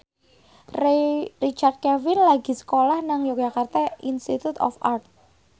Richard Kevin lagi sekolah nang Yogyakarta Institute of Art